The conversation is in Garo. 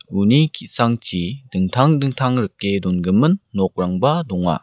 uni ki·sangchi dingtang dingtang rike dongimin nokrangba donga.